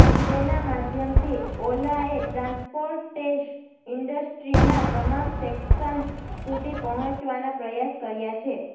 તેના માધ્યમથી ઓલાએ ટ્રાન્સપોર્ટેશ ઇન્ડસ્ટ્રીનાં તમામ સેક્શન્સ સુધી પહોંચવાના પ્રયાસ કર્યા છે